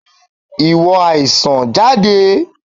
Ìwọ àìsàn, jáde!